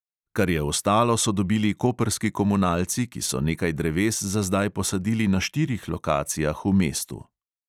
Kar je ostalo, so dobili koprski komunalci, ki so nekaj dreves za zdaj posadili na štirih lokacijah v mestu.